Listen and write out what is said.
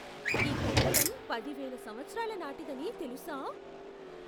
ఈ కట్టడం పదివేల సంవత్సరాల నాటిదని తెలుసా?